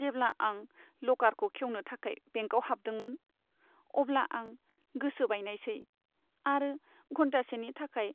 जेब्ला आं लकारखौ खेवनो थाखाय बेंकआव हाबदोंमोन, अब्ला आं गोसो बायनायसै आरो घन्टासेनि थाखाय